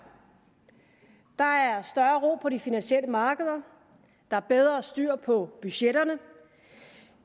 der er større ro på de finansielle markeder der er bedre styr på budgetterne